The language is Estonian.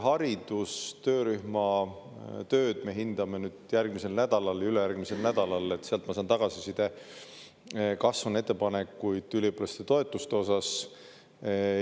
Haridustöörühma tööd me hindame järgmisel nädalal, ülejärgmisel nädalal, sealt ma saan tagasiside, kas on ettepanekuid üliõpilaste toetuste osas.